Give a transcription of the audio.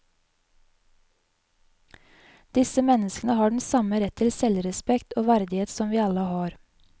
Disse menneskene har den samme rett til selvrespekt og verdighet som vi alle har.